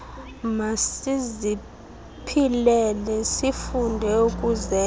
masiziphilele sifunde ukuzenzela